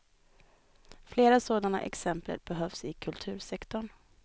Flera sådana exempel behövs i kultursektorn.